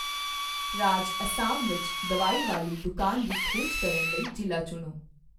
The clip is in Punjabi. ਰਾਜ ਅਸਾਮ ਵਿੱਚ ਦਵਾਈ ਵਾਲੀ ਦੁਕਾਨ ਦੀ ਖੋਜ ਕਰਨ ਲਈ ਜ਼ਿਲ੍ਹਾ ਚੁਣੋ